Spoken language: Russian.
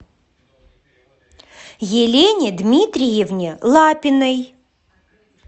елене дмитриевне лапиной